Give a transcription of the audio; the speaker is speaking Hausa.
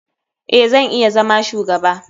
Eh, zan iya zama shugaba.